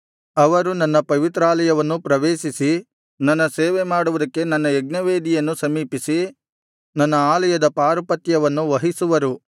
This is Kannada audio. ಅವರು ನನ್ನ ಪವಿತ್ರಾಲಯವನ್ನು ಪ್ರವೇಶಿಸಿ ನನ್ನ ಸೇವೆ ಮಾಡುವುದಕ್ಕೆ ನನ್ನ ಯಜ್ಞವೇದಿಯನ್ನು ಸಮೀಪಿಸಿ ನನ್ನ ಆಲಯದ ಪಾರುಪತ್ಯವನ್ನು ವಹಿಸುವರು